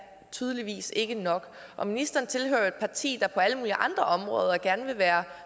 tydeligvis ikke nok og ministeren tilhører jo et parti der på alle mulige andre områder gerne vil være